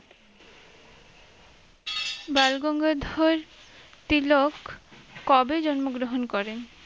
বালগঙ্গাধর তিলক কবে জন্ম গ্রহন করেন?